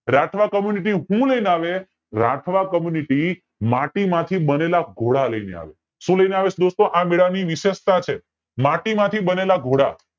Rathwa community હું લય ને આવે રાઠવા community માટી માંથી બનેલા ઘોડા લય ને આવે છે સુ લય ને આવે છે આ મેલા ની વિશેષતા છે માટી માંથી બનેલા ઘોડા